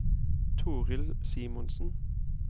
Torill Simonsen